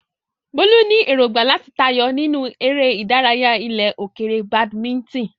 Bolu ní èrògbà láti tayọ nínú eré ìdárayá ilẹ̀ òkèèrè badminton.